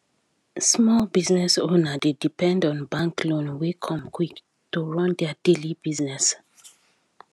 small business owners dey depend on bank loan wey come quick to run their daily business